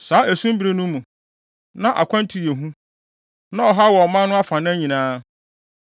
Saa esum bere no mu, na akwantu yɛ hu. Na ɔhaw wɔ ɔman no afanan nyinaa.